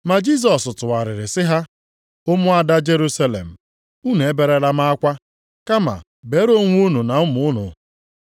Ma Jisọs tụgharịrị sị ha, “Ụmụada Jerusalem, unu eberela m akwa, kama beerenụ onwe unu na ụmụ unu.